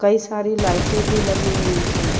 کئی سارے لیٹے بھی لگی ہوئی ہے۔